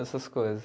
Essas coisas.